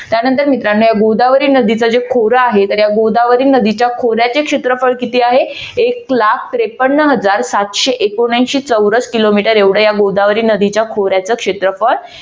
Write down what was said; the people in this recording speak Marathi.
त्यानंतर मित्रानो या गोदावरी नदीचं जे खोर आहे तर या गोदावरी नदीच्या खोऱ्याचे क्षेत्रफळ किती आहे एक लाख त्रेपन्न हजार सातशे एकोणऐंशी चौरस किलोमीटर एवढं या गोदावरी नदीच्या खोऱ्याचा क्षेत्रफळ